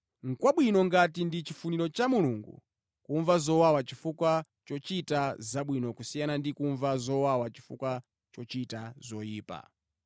Nʼkwabwino ngati ndi chifuniro cha Mulungu kumva zowawa chifukwa chochita zabwino kusiyana ndi kumva zowawa chifukwa chochita zoyipa.